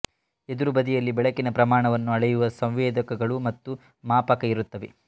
ಎದುರು ಬದಿಯಲ್ಲಿ ಬೆಳಕಿನ ಪ್ರಮಾಣವನ್ನು ಅಳೆಯುವ ಸಂವೇದಕಗಳು ಮತ್ತು ಮಾಪಕ ಇರುತ್ತವೆ